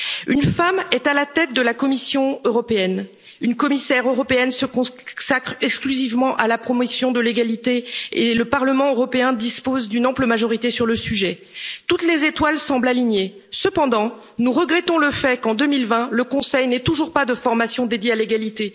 de société. Une femme est à la tête de la Commission européenne. Une commissaire européenne se consacre exclusivement à la promotion de l'égalité et le Parlement européen dispose d'une ample majorité sur le sujet. Toutes les étoiles semblent alignées. Cependant, nous regrettons le fait qu'en 2020, le Conseil n'ait toujours pas de formation dédiée